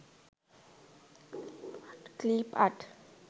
clip art